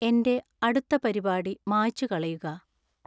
എന്‍റെ അടുത്ത പരിപാടി മായ്ച്ചുകളയുക